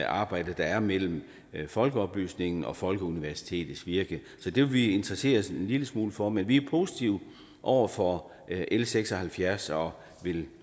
arbejde der er mellem folkeoplysningens og folkeuniversitetets virke så det vil vi interessere os en lille smule for men vi er positive over for l seks og halvfjerds og vil